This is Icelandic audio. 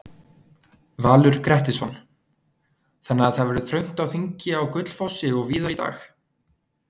Valur Grettisson: Þannig að það verður þröngt á þingi á Gullfossi og víðar í dag?